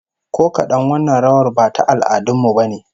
Ko kadan, wannan rawar ba ta al'adun mu bane